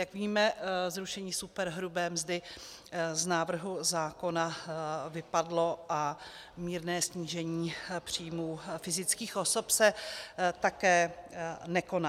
Jak víme, zrušení superhrubé mzdy z návrhu zákona vypadlo a mírné snížení příjmů fyzických osob se také nekoná.